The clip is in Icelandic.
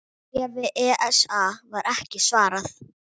Bréfi ESA var ekki svarað.